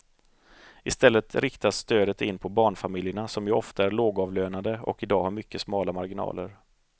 I stället riktas stödet in på barnfamiljerna som ju ofta är lågavlönade och i dag har mycket smala marginaler.